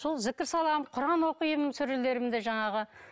сол зікір саламын құран оқимын сүрелерімді жаңағы